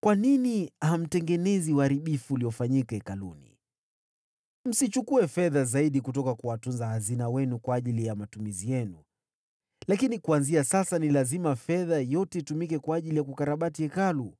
“Kwa nini hamtengenezi uharibifu uliofanyika hekaluni? Msichukue fedha zaidi kutoka kwa watunza hazina wenu kwa ajili ya matumizi yenu, lakini kuanzia sasa ni lazima fedha yote itumike kwa ajili ya kukarabati Hekalu.”